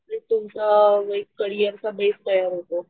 Complaint तुमचा एक career चा बेस तयार होतो.